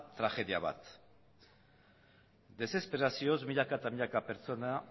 tragedia bat desesperazioz milaka eta milaka pertsona